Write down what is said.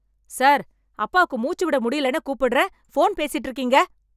sir அப்பாக்கு மூச்சுவிட முடியலன்னு கூப்பிடுறேன் ஃபோன் பேசிட்டு இருக்கீங்க